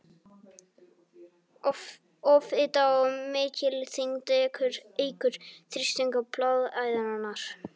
Offita- Of mikil þyngd eykur þrýsting á bláæðarnar.